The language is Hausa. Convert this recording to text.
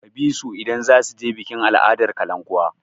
Ka bi su idan za su je bikin al'adar kalankuwa!